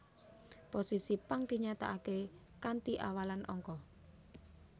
Posisi pang dinyatakaké kanti awalan angka